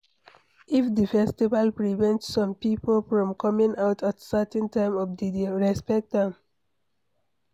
If di festival prevent some pipo from coming out at certain time of di day, respect am